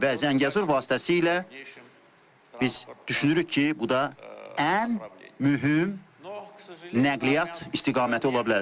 Və Zəngəzur vasitəsilə biz düşünürük ki, bu da ən mühüm nəqliyyat istiqaməti ola bilər.